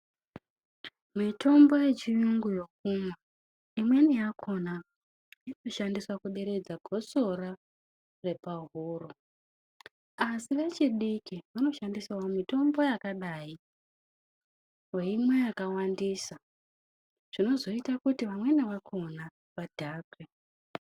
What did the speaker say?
Mitombo yechiyungu yekumwa imweni yakona inoshandisa kuderedza gotsora repahuro asi vechidiki vanoshandisawo mitombo yakadai veimwa yakawandisa zvinozoita kuti vamweni vakona vadhakwe.